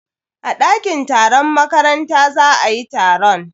A dakin taron makaranta za ayi taron.